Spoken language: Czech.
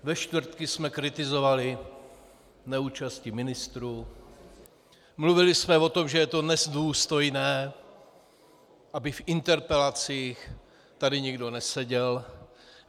Ve čtvrtky jsme kritizovali neúčast ministrů, mluvili jsme o tom, že je to nedůstojné, aby v interpelacích tady nikdo neseděl.